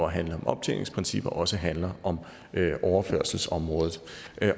at handle om optjeningsprincipper også handler om overførselsområdet